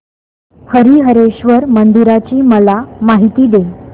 हरीहरेश्वर मंदिराची मला माहिती दे